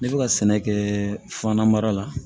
Ne bɛ ka sɛnɛ kɛ fana mara la